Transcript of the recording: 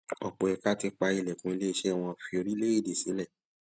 ọpọ ẹka ti pa ilẹkùn ilé iṣẹ wọn fi orílẹèdè sílẹ